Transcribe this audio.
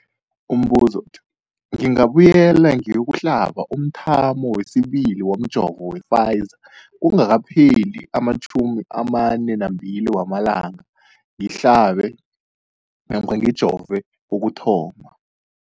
Umbuzo, ngingabuyela ngiyokuhlaba umthamo wesibili womjovo we-Pfizer kungakapheli ama-42 wamalanga ngihlabe namkha ngijove kokuthoma.